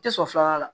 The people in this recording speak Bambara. Tɛ sɔn filanan la